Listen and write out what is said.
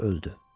və öldü.